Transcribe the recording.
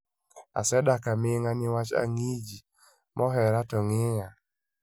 "Asedak aminga niwach angiji mohera to ngiya"